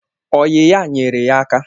Oyi ya nyere ya aka